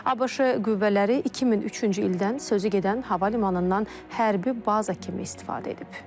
ABŞ qüvvələri 2003-cü ildən sözügedən hava limanından hərbi baza kimi istifadə edib.